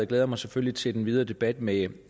glæder mig selvfølgelig til den videre debat med